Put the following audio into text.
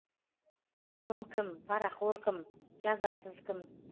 залым кім парақор кім жазасыз кім